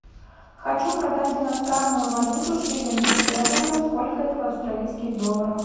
хочу продать иностранную валюту шиллинги стерлингов сколько это в австралийских долларах